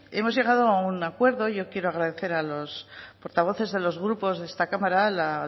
hemos llegado a un acuerdo y yo quiero agradecer a los portavoces de los grupos de esta cámara la